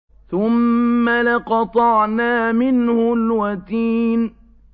ثُمَّ لَقَطَعْنَا مِنْهُ الْوَتِينَ